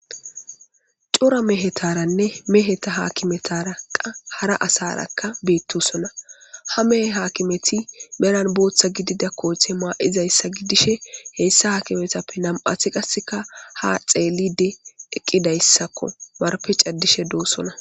Cora mehetarane meheta hakimetaraka hara asaraka beetosona ha mehe haakimeti banan bootha gidiza koote ma'izaysa gidishe heysa haakimetape nam'ati qaseka ha xeelidi eqidaysako marpe cadishe doosona.